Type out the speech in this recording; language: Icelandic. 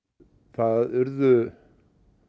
það urðu